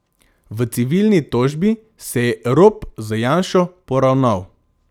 V civilni tožbi se je Rop z Janšo poravnal.